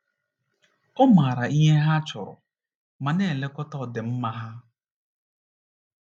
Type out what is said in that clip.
Ọ maara ihe ha chọrọ ma na-elekọta ọdịmma ha.